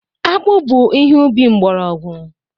Akpu bu ihe ubi mgbọrọgwụ.